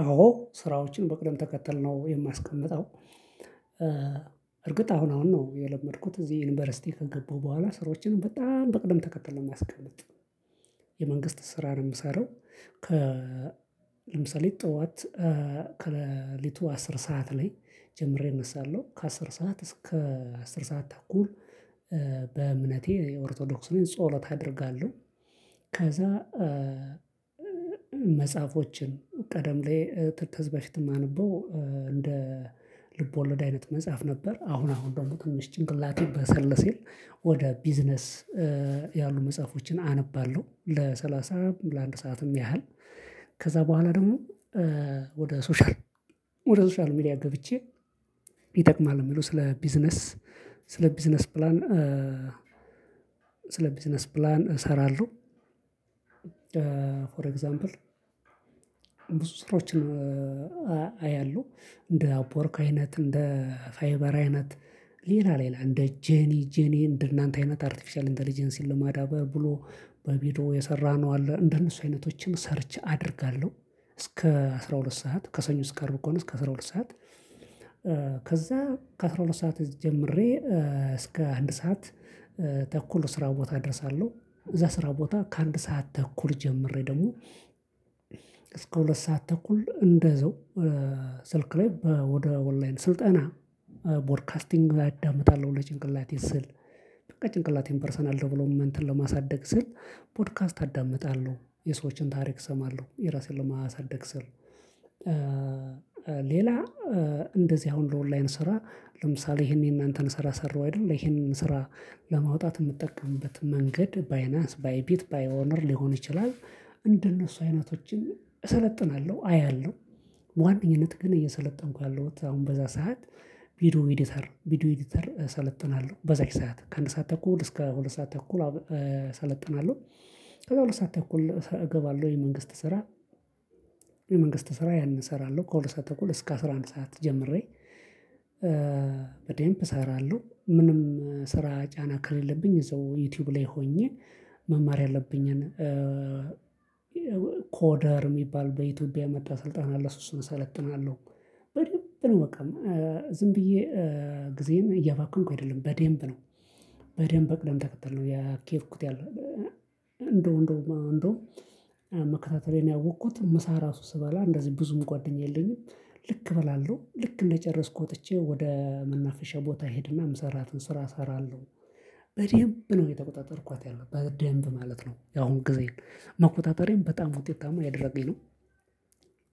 አዎ ስራዎችን በቅደም ተከተል ነው የማስቀምጠው። እርግጥ አሁን አሁን ነው የለመድኩት እዚህ ይንበርሲቲ ከገባሁ በኋላ ስራዎችን በጣም በቅድም ተከተል ነው ማስቀምጥ። የመንግስት ስራ ነው ምሰራው። ከ ለምሳሌ ጠዋት ከለሊቱ አስር ሰዓት ላይ ጀምሬ እነሳለሁ ከአስር ሰዓት እስከ አስር ሰዓት ተኩል። በእምነቴ የኦርቶዶክስ ነኝ ጸሎት አደርጋለሁ። ከዛ መጽሐፎቸን ቀደም ላይ ተዝህ በፊት ማንበው እንደ ልቦለድ አይነት መጽሐፍ ነበር። አሁን አሁን ደሞ ትንሽ ጭንቅላቴም በሰል ሲል ወደ ቢዝነስ ያሉ መጽሐፎችን አነባለሁ። ለሰላሳ ለአንድ ሰዓትም ያህል ከዛ በኋላ ደሞ ወደ ሶሻል ወደ ሶሻል ሚዲያ ገብቼ ይጠቅማል ሚለው ስለ ቢዝነስ ስለ ቢዝነስ ፕላን። ስለ ቢዝነስ ፕላን እሰራለው። ፎር ኤግዛምፕል ብዙ ስራዎችን አያሉ እንደ አፖወርክ አይነት እንደ ፋይበር አይነት ሌላ ሌላ እንደ ጀኒ ጀኒ እንደ እናንተ አይነት አርቴፊሻል ኢንተለጀንሲን ለማዳበር ብሎ በቢሮ የሰራነው አለ። እንደነሱ አይነቶችን ሰርቼ አደርጋለሁ እስከ አስራ ሁለት ሰዓት ከሰኞ እስከ አርብ ከሆነ እስከ አስራ ሁለት ሰዓት። ከዛ ከአስራ ሁለት ሰዓት ጀምሬ እስከ አንድ ሰዓት። ተኩል ስራ ቦታ እደርሳለሁ እዛ ስራ ቦታ ከአንድ ሰዓት ተኩል ጀምሬ ደሞ እስከ ሁለት ሰዓት ተኩል እንደዛው። ስልክ ላይ ወደ ወላይን ስልጠና ቦድካስቲንግ አዳምጣለሁ ለጭንቅላቴ ስል ጭንቅላቴን ፐርሰናል ደብሎፓመንትን ለማሳደግ ስል ፖድካስት አዳምጣለሁ የሰዎችን ታሪክ እሰማለሁ የራሴን ለማሳደግ ስል። ሌላ እንደዚህ አሁን ለኦንላይን ስራ ለምሳሌ ይሄንን የእናንተን ስራ ሰራሁ አይደል? እሄንን ስራ ለማውጣት እምትጠቀምበት መንገድ ባይናንስ ባይፒት ባይኦነር ሊሆን ይችላል። እንደነሱ አይነቶችን እሰለጥናለሁ አያለሁ በዋናነኝነት ግን እየሰለጠንኩ ያለሁት አሁን በዛ ሰዓት። ቪዲዮ ኢዲተር ቪዲዮ ኢዲተር እሰለጥናለሁ በዛች ሰዓት ከአንድ ሰዓት ተኩል እስከ ሁለት ሰዓት ተኩል አሰለጥናለሁ። ከዛ ሁለት ሰዓት ተኩል እገባለሁ የመንግስት ስራ። የመንግስት ስራ ያነን እሰራለሁ ከሁለት ሰዓት ተኩል እስከ አስራ አንድ ሰዓት ጀምሬ። በደንብ እሰራለሁ ምንም ስራ ጫና ከለለብኝ እዛው ዩቲዩብ ላይ ሆኜ መማር ያለብኝን ኮደር ሚባል በኢትዮጵያ የመጣ ስልጣን አለ እሱ እሱን እሰለጥናለሁ። በደንብ ነው በቃ ዝም ብዬ ግዜየን እያባከንኩ አይደለም በደንብ ነው። በደንብ በቅደም ተከተል ነው ያ ኪያድኩት ያለው እንደው እንደው እንደውም መከታተሌን ያወቅኩት ምሳ ራሱ ስበላ እንደዚህ ብዙም ጓደኛ የለኝም። ልክ እበላለሁ ልክ እንደጨረስኩ ወጥቼ ወደ መናፈሻ ቦታ እሄድና ምሰራትን ስራ እሰራለሁ። በዴንብ ነው እየተቆጣጠርኳት ያለው በደንብ ማለት ነው ያሁን ግዜን መቆጣጠሬም በጣም ውጤታማ እያደረገኝ ነው።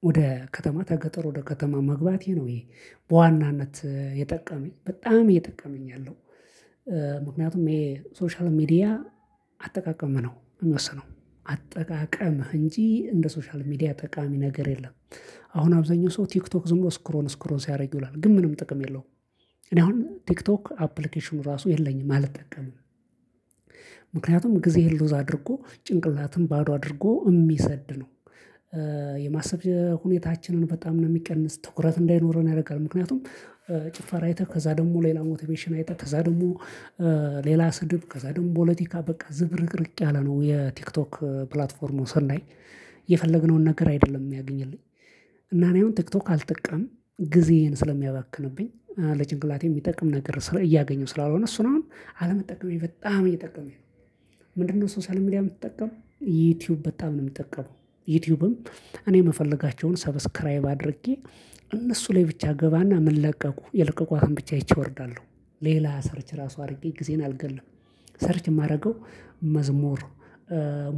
ወደ ከተማ ተገጠር ወደ ከተማ መግባቴ ነው ይህ በዋናነት የጠቀመኝ በጣም እየጠቀመኝ ያለው። ምክንያቱም እሄ ሶሻል ሚዲያ አጠቃቀምህ ነው ሚወስነው። አጠቃቀምህ እንጂ እንደ ሶሻል ሚዲያ ጠቃሚ ነገር የለም። አሁን አብዛኛው ሰው ቲክቶክ ዝም ሎ ስክሮን ስክሮን ሲያደርግ ይላል ግን ምንም ጥቅም የለውም። እኔ አሁን ቲክቶክ አፕሊኬሽኑ ራሱ የለኝም አልጠቀምም። ምክንያቱም ግዜህን ልውዝ አድርጎ ጭንቅላትን ባዶ አድርጎ እሚሰድ ነው። የማሰብ ሁኔታችንን በጣም ነው ሚቀንስ ትኩረት እንዳይኖረን ያረጋል ምክንያቱም። ጭፈራ አይተህ ከዛ ደሞ ሌላ ሞቲቬሽን አይተህ ከዛ ደሞ ሌላ ስድብ ከዛ ደግሞ ቦለቲካ በቃ ዝብርቅርቅ ያለ ነው የቲክቶክ ፕላትፎርሙ ስናይ። የፈለግነውን ነገር አይደለም ሚያገኝልኝ። እና እኔ አሁን ቲክቶክ አልጠቀምም ግዜዬን ስለሚያባክንብኝ ለጭንቅላቴ ሚጠቅም ነገር እያገኘሁ ስላልሆነ እሱን አሁን አለመጠቀሜ በጣም እየጠቀመኝ ነው። ምንድነው? ሶሳል ሚዲያ ምጠቀመው ዩቲዩብ በጣም ነው ምጠቀመው። ዩቲዩብም እኔ ምፈልጋቸውን ሰብስክራይብ አድርጌ እነሱ ላይ ብቻ እገባና ምን ለቀቁ የለቀቁታን ብቻ አይቼ እወርዳለሁ። ሌላ ሰርች ራሱ አርጌ ግዜየን አልገልም። ሰርች እማረገው መዝሙር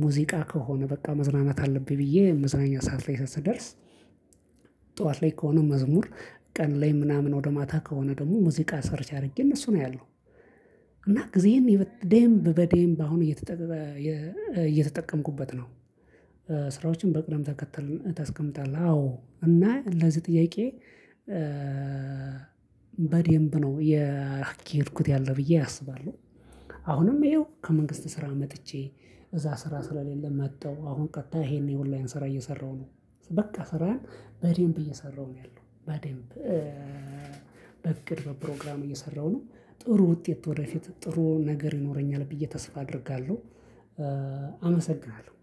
ሙዚቃ ከሆነ በቃ መዝናናት አለብኝ ብዬ መዝናኛ ሰዓት ላይ ስደርስ። ጥዋት ላይ ከሆነ መዝሙር ቀን ላይ ምናምን ወደ ማታ ከሆነ ደግሞ ሙዚቃ ሰርች አርጌ እነሱን አያለው። እና ግዜዬን በደምብ በዴምብ አሁን እየተጠቀ እየተጠቀምኩበት ነው። ስራዎችን በቅደም ተከተል ታስቀምጣለህ? አዎ እና ለዚህ ጥያቄ በዴምብ ነው የአካይድኩት ያለ ብዬ አስባለሁ። አሁንም እሄው ከመንግስት ስራ መጥቼ እዛ ስራ ስለሌለ መተው አሁን ቀጥታ ይሄን የኦንላይን ስራ እየሰራሁ ነው። በቃ ስራን በደንብ እየሰራሁ ነው ያለው በደንብ በፕሮግራም እየሰራሁ ነው። ጥሩ ውጤት ወደፊት ጥሩ ነገር ይኖረኛል ብዬ ተስፋ አደርጋለሁ። አመሰግናለሁ።